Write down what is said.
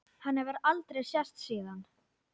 Hann hefur aldrei sést síðan.